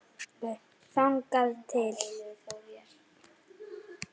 Þangað til